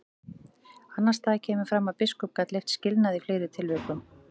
Annars staðar kemur fram að biskup gat leyft skilnað í fleiri tilvikum.